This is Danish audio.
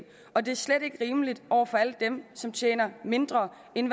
og det er slet ikke rimeligt over for alle dem som tjener mindre end